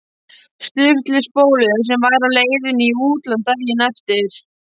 Sturlu spólu sem væri á leiðinni í útlán daginn eftir.